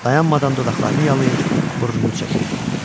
Dayanmadan dodaqlarını yalır, burnunu çəkirdi.